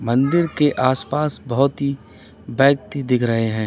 मंदिर के आसपास बोहोत ही ब्यक्ति दिख रहे हैं।